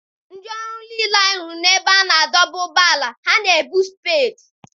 Ndị ọrụ niile anyị hụrụ n'ebe a na-adọba ụgbọala ha na-ebu spedii.